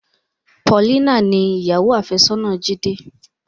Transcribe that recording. Paulina ni ìyàwó afesona Jide.